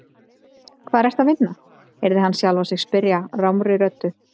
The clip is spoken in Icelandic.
Hvar ertu að vinna? heyrði hann sjálfan sig spyrja rámri röddu.